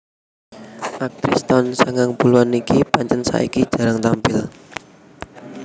Aktris taun sangang puluhan iki pancen saiki jarang tampil